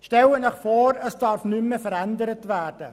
Stellen Sie sich vor, es dürfte nichts mehr verändert werden.